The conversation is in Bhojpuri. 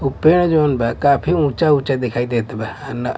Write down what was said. उ पेड़ जवन बा काफी ऊंचा ऊंचा दिखाई देत बा--